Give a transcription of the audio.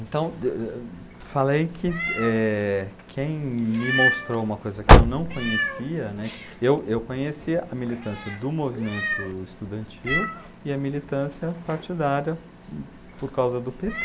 Então, falei que, eh, quem me mostrou uma coisa que eu não conhecia, né, que eu eu conhecia a militância do movimento estudantil e a militância partidária por causa do pê tê.